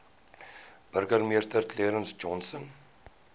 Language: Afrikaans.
burgemeester clarence johnson